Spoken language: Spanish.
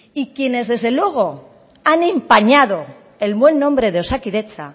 y quienes desde luego han empañado el buen nombre de osakidetza